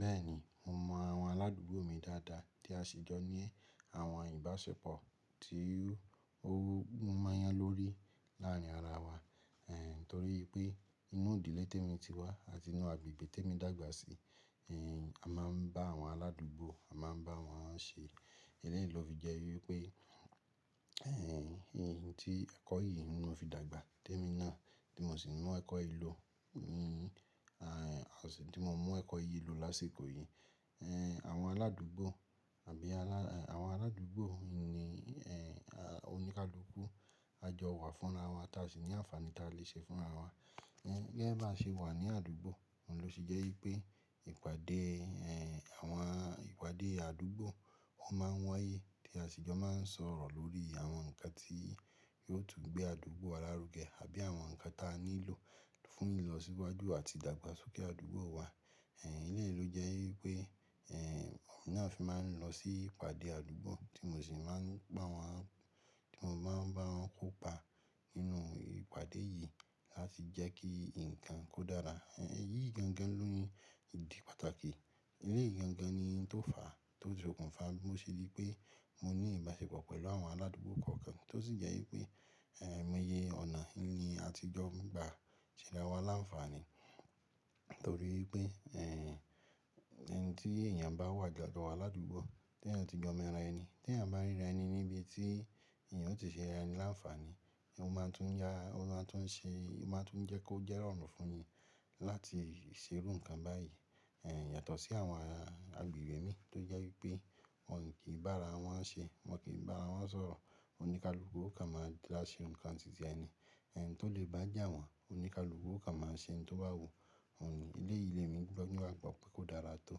Bẹ́ẹ̀ni, mo mọ àwọn aládùúgbò mi dáadáa tí a sì jọ ní àwọn ìbáṣepọ̀ tí o mọ́nyán lórí láàrin ara wa. Torí pé, nínú ìdílé t'èmi ti wá àti inú agbègbè t'èmi dàgbà sí, a ma ń bá àwọn aládùgbò, a ma ń báwọn ṣé, elẹ́yìí ló fi jẹ wípé, òun tí, ẹ̀kọ yìí òun ni mo fi dàgbà, ti èmi náà, tí mo sì mú ẹ̀kọ yìí lò tí mo mú ẹ̀kọ́ yìí lò lásìkò yìí. Àwọn aládùúgbò àbí alá àwọn aládùúgbò mi ní e a oníkálùúku á jọ wà fúnna wa tá sì ní ànfàní tá lè ṣe fúnra wa. Ní biya bá ṣe wà ní àdúgbò, òun ló sì jẹ́ wípé ìpàdé, en. Àwọn ìpàdé àdúgbò, wọ́n máa ń wáyé tí a sì jọ máa ń sọ̀rọ̀ lórí àwọn nǹkan tí yóò tún gbé àdúgbò a lárùgé àbí àwọn nǹkan tí a nílò fún ìlọsíwájú àti ìdàgbàsókè àdúgbò wa. Ehn elẹ́yìí ló jẹ́ wípé, e n èmi nàá fi n máa ń lọ sí ìpàdé àdúgbò tí mo sì máa ń bá wọn, tí mo máa ń bá wọn kópa nínú ìpàdé yìí láti jẹ́ kí ǹkan kó dára. Ehn èyí gangan ní ìdí pàtàkì. Elẹ́yìí gangan ni n tó fàá, tó sokùnfà bó ṣe rí pé mo ní ìbáṣepọ̀ pẹ̀lú àwọn aládùúgbò kọ̀ọ̀kan ti ó sì jẹ́ wípé aimoyẹ ọ̀nà ni àtijọ́ gbà ṣera wa láǹfààní. Torí ipé en, en tí èèyàn bá wà tajo wa làdúgbò tí èèyàn ti mọ̀ra ẹni, tí èèyàn bá ríra ẹni níbi tí èèyàn ó ti ṣera ẹni aláǹfààní, ó máa tún yá, ó máa tún ṣe, ó máa tún jẹ́ kó jẹ́rọ̀rùn fúnni láti ṣe irú nǹkan báyìí. Yàtọ̀ sí àwọn agbègbè mi tó jẹ́ wípé wọ́n kì í bá ara wọn ṣé, wọ́n kì í bá ara wọn sọ̀rọ̀, oníkàlùúku o kán máa dá ṣe nǹkan tìtí ẹ ni, en tó lè bá jà wọ́n, oníkàlùúku o kán máa ṣe n tó bá wù. Elẹ́yìí ni èmi gbó ní wà gbọ́ pé kó dára tó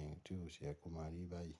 en tí ó ṣi yẹ kó máa rí báyìí.